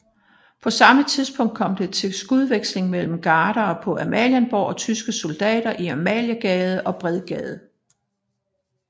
På samme tidspunkt kom det til skudveksling mellem gardere på Amalienborg og tyske soldater i Amaliegade og Bredgade